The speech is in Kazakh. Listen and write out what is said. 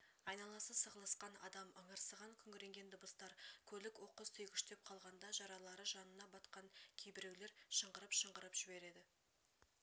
айналасы сығылысқан адам ыңырсыған күңіренген дыбыстар көлік оқыс түйгіштеп қалғанда жаралары жанына батқан кейбіреулер шыңғырып-шыңғырып жібереді